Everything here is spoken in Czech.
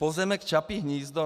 Pozemek Čapí hnízdo.